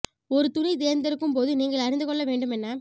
ஒரு துணி தேர்ந்தெடுக்கும் போது நீங்கள் அறிந்து கொள்ள வேண்டும் என்ன